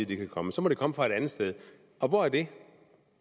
det kan komme så må det komme fra et andet sted og hvor er det